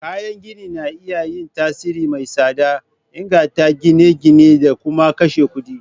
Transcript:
Kayan gini na iya yin tasiri mai tsada, inganta ginin gini da kuma kashe kuɗi.